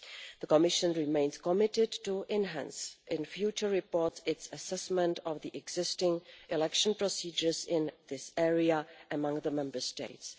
The Commission remains committed to enhancing in future reports its assessment of existing election procedures in this area among the Member States.